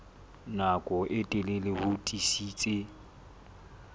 nako e telele ho tiisitse